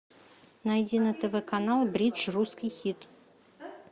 найди на тв канал бридж русский хит